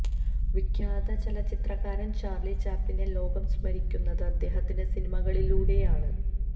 വിഖ്യാത ചലച്ചിത്രകാരൻ ചാർളി ചാപ്ലിനെ ലോകം സ്മരിക്കുന്നത് അദ്ദേഹത്തിന്റെ സിനിമകളിലൂടെയാണ്